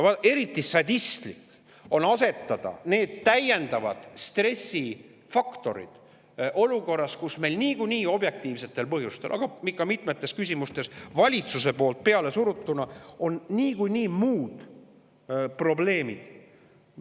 Eriti sadistlik on need täiendavad stressifaktorid olukorras, kus meil on objektiivsetel põhjustel, aga mitmes küsimuses ka valitsuse poolt peale surutuna niikuinii muud probleemid.